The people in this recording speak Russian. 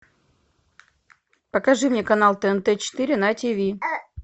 покажи мне канал тнт четыре на тиви